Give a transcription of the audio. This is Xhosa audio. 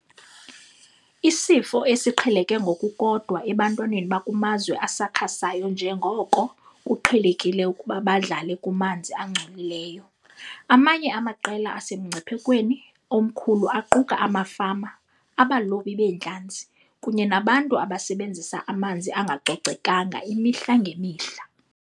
Isifo esiqheleke ngokukodwa ebantwaneni abakumazwe asakhasayo njengoko kuqhelekile ukuba badlale kumanzi angcolileyo. Amanye amaqela asemngciphekweni omkhulu aquka amafama, abalobi beentlanzi, kunye nabantu abasebenzisa amanzi angacocekanga imihla ngemihla.